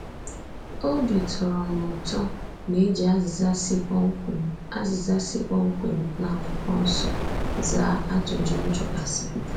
Obi tọrọ m ụtọ na e ji azịza si kpọmkwem azịza si kpọmkwem na akwụkwọ nsọ zaa ajụjụ m jụgasiri.